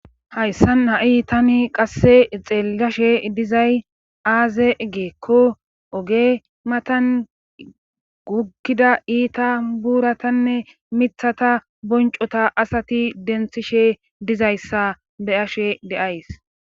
hayssan ha7i tani qasse xeellashe dizay aaze geekko oge matan guggida iita buuratanne mithata boncota asati denthishe dizayssa be ashe deays